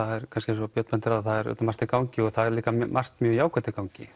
eins og Björn bendir á þá er margt í gangi og margt mjög jákvætt í gangi